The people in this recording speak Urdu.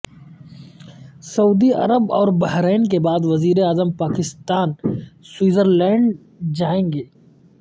سعودی عرب اور بحرین کے بعد وزیر اعظم پاکستان سوئٹزر لینڈ جائیں گے